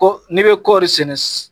Ko ne'i bɛ kɔɔri sɛnɛ